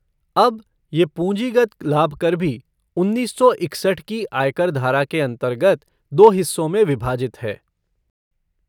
अब, ये पूँजीगत लाभ कर भी उन्नीस सौ इकसठ की आयकर धारा के अन्तर्गत दो हिस्सों में विभाजित है।